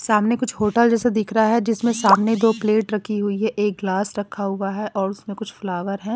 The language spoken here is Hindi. सामने कुछ होटल जैसा दिख रहा है जिसमें सामने दो प्लेट रखी हुई है एक ग्लास रखा हुआ है और उसमें कुछ फ्लावर हैं।